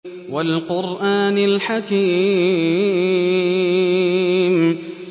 وَالْقُرْآنِ الْحَكِيمِ